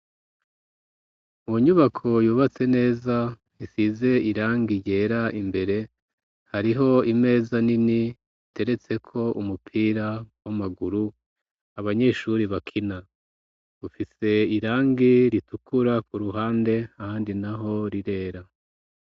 mu nyubako yubatse neza isize irangi ryera imbere hariho imeza nini iteretse ko umupira w'amaguru abanyeshuri bakina ufise irangi ritukura ku ruhande handi naho rirera